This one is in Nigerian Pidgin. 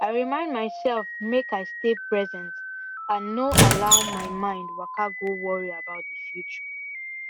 i remind myself make i stay present and no allow my mind waka go worry about the future